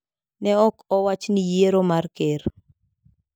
Ne ok owach ni yiero mar ker.